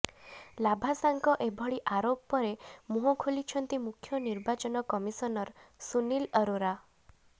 ଲାଭାସାଙ୍କ ଏଭଳି ଆରୋପ ପରେ ମୁହଁ ଖୋଲିଛନ୍ତି ମୁଖ୍ୟ ନିର୍ବାଚନ କମିଶନର ସୁନୀଲ ଆରୋରା